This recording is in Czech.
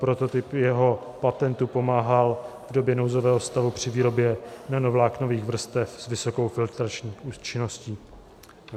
Prototyp jeho patentu pomáhal v době nouzového stavu při výrobě nanovláknových vrstev s vysokou filtrační účinností.